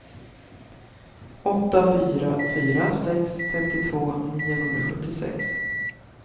åtta fyra fyra sex femtiotvå niohundrasjuttiosex